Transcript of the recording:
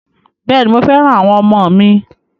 Bẹ́ẹ̀ ni, mo fẹ́ràn àwọn ọmọ mi.